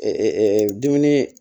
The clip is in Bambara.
dumuni